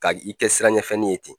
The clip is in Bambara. K'a i kɛ siranɲɛ fɛnni ye ten